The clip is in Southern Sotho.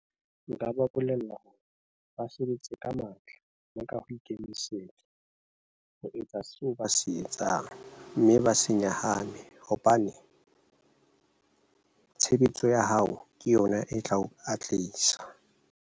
Nka ba bolella hore ba sebetse ka matla le ka ho ikemisetsa ho etsa seo ba se etsang mme ba se nyahame hobane tshebetso ya hao ke yona e tla o a tlisa.